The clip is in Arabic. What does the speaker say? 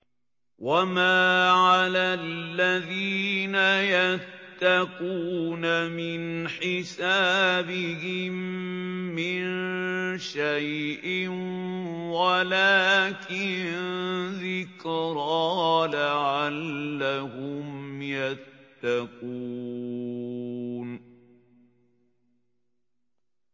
وَمَا عَلَى الَّذِينَ يَتَّقُونَ مِنْ حِسَابِهِم مِّن شَيْءٍ وَلَٰكِن ذِكْرَىٰ لَعَلَّهُمْ يَتَّقُونَ